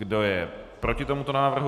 Kdo je proti tomuto návrhu?